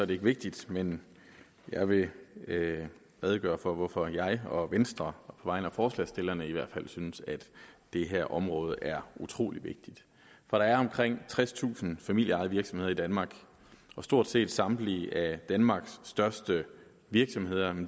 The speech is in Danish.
det ikke vigtigt men jeg vil redegøre for hvorfor jeg og venstre vegne af forslagsstillerne i hvert fald synes at det her område er utrolig vigtigt der er omkring tredstusind familieejede virksomheder i danmark stort set samtlige af danmarks største virksomheder